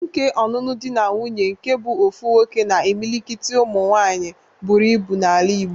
Nke ọnụnụ di na nwuńye nke bụ ofu nwoke na imilikit ụmụ nwaanyị buru ibu n'ala igbo